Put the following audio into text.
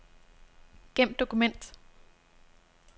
Gem dokument.